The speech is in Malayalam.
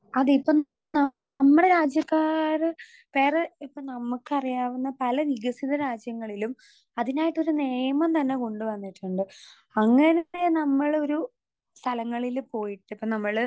സ്പീക്കർ 2 അതിപ്പം ന നമ്മടെ രാജ്യക്കാര് വേറെ ഇപ്പൊ നമ്മക്കറിയാവുന്ന പല വികസിത രാജ്യങ്ങളിലും അതിനായിട്ടൊരു നിയമം തന്നെ കൊണ്ട് വന്നിട്ടുണ്ട് അങ്ങനേ നമ്മളൊരു സ്ഥലങ്ങളില് പോയിട്ടിപ്പൊ നമ്മള്.